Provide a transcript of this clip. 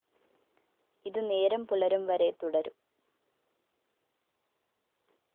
ഇതു നേരം പുലരുംവരെ തുടരും